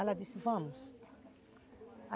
Ela disse, vamos.